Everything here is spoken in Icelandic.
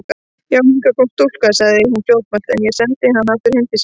Já, hingað kom stúlka, sagði hún fljótmælt,-en ég sendi hana aftur heim til sín.